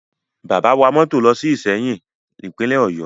Bàbá wa mọ́tò lọ sí Ìsẹ́yìn, Ìpínlẹ̀ Ọ̀yọ́